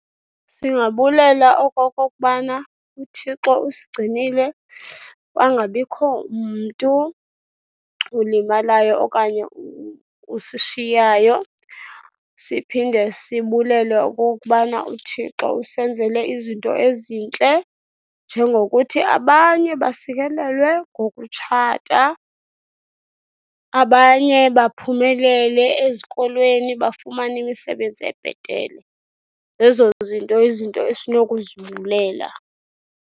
Singabulela okokubana uThixo usigcinile kwangabikho mntu ulimalayo okanye usishiyayo. Siphinde sibulele okokubana uThixo usenzele izinto ezintle njengokuthi abanye basikelelwe ngokutshata, abanye baphumelele ezikolweni bafumane imisebenzi ebhetele. Zezo zinto izinto esinokuzibulela.